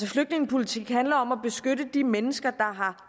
flygtningepolitik handler om at beskytte de mennesker har